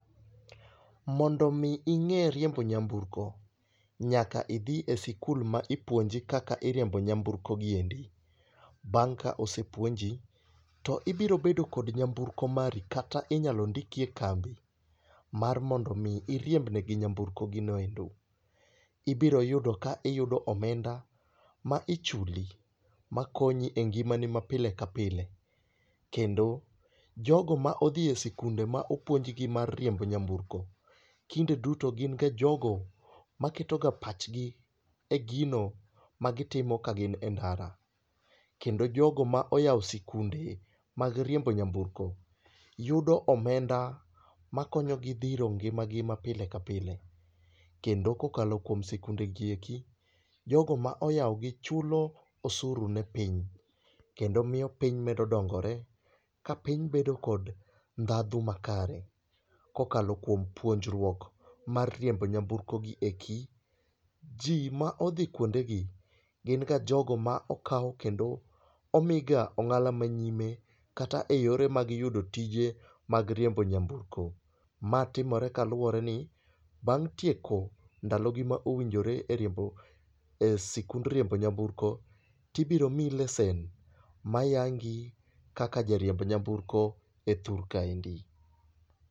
Mondo mi ing'e riembo nyamburko, nyaka idhi e sikul ma ipuonji kaka iriembo nyamburko gieki. Bang' ka osepuonji, to ibiro bedo kod nyamburko mari kata inyalo ndiki e kambi mar mondo mi iriemb negi nyamburko gino ero. Ibiro yudo ka iyudo omenda ma ichuli makonyi e ngimani ma pile kapile. Kendo jogo ma odhi e sikunde ma opuonjgi mar riembo nyamburko, kinde duto gin ga jogo maketoga pachgi e gino magitimo ka gin e ndara. Kendo jogo ma oyawo sikunde mag riembo nyamburko, yudo omenda makonyogi dhiro ngimagi mapile ka pile. Kendo kokalo kuom sikundegieki, jogo ma oyawo gi chulo osuru ne piny. Kendo miyo piny medo dongore kapiny bedo kod ndhadhu makare kokalo kuom puonjruok mar riembo nyamburko gieki. Ji ma odhi kuondegi gin ka jogo ma okaw kendo omiga ong'ala manyime kata eyore mag yudo tije mag riembo nyamburko. Ma timore kaluworeni bang' tieko ndalogi ma owinjore e riembo, e sikund riembo nyamburko to ibiro miyi lesen mayangi kaka jariemb nyamburko e thur kaendi